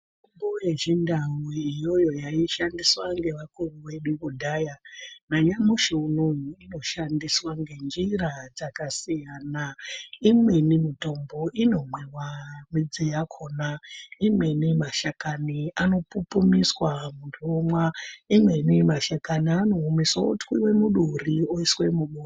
Mitombo yechindau iyoyo yaishandiswa ngevakuru vedu kudhaya nanyamushi unowu inoshandiswa ngenjira dzakasiyana. Imweni mutombo inomwiwa midzi yakona. Imweni mashakani anopupumiswa muntu omwa, imweni mashakani anoomeswa otwiwe muduri oiswe mubo...